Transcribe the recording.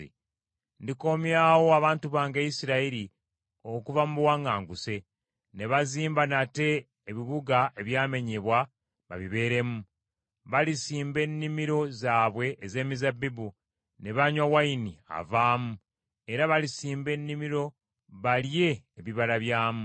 Ndikomyawo abantu bange Isirayiri okuva mu buwaŋŋanguse, ne bazimba nate ebibuga ebyamenyebwa, babibeeremu. Balisimba ennimiro zaabwe ez’emizabbibu ne banywa wayini avaamu, era balisimba ennimiro balye ebibala byamu.